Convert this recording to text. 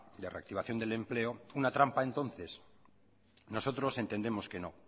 de reactivación del empleo una trampa entonces nosotros entendemos que no